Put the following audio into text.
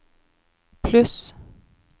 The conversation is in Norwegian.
pluss